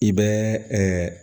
I bɛ